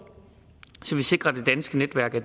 så vi sikrer at det danske netværk af